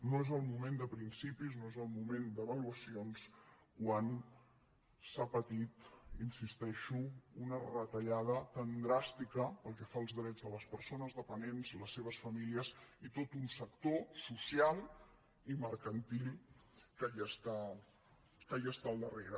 no és el moment de principis no és el moment d’avaluacions quan s’ha patit hi insisteixo una retallada tan dràstica pel que fa als drets de les persones dependents les seves famílies i tot un sector social i mercantil que hi està al darrere